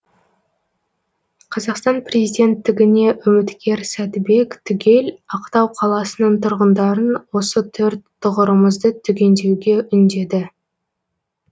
қазақстан президенттігіне үміткер сәдібек түгел ақтау қаласының тұрғындарын осы төрт тұғырымызды түгендеуге үндеді